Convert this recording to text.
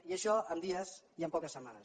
i això en dies i en poques setmanes